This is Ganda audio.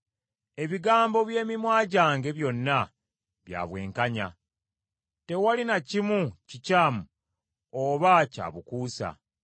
Ebigambo by’emimwa gyange byonna bya bwenkanya tewali na kimu kikyamu oba kya bukuusa.